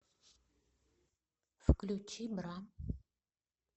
включи бра